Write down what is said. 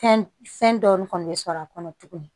Fɛn fɛn dɔɔnin kɔni bɛ sɔrɔ a kɔnɔ tuguni